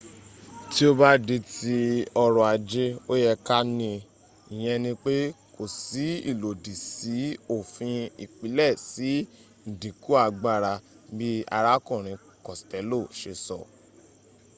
tí ó bá di ti ọrọ̀ ajé ó yẹ ká ní i ìyẹn ni pé kò si ilòdì sí òfin ìpìlẹ̀ si ìdínkù agbára bi arákùnrin costello ṣe sọ